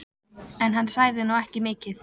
En hann sagði nú ekki mikið.